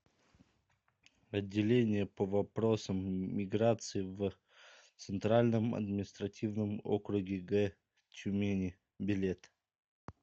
отделение по вопросам миграции в центральном административном округе г тюмени билет